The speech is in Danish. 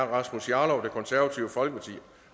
rasmus jarlov